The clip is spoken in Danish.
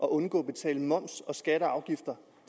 at undgå at betale moms skatter og afgifter